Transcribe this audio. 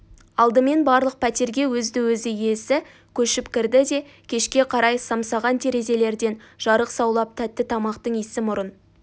алдымен барлық пәтерге өзді-өзі иесі көшіп кірді де кешке қарай самсаған терезелерден жарық саулап тәтті тамақтың иісі мұрын